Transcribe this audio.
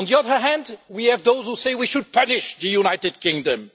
On the other hand, we have those who say we should punish the United Kingdom.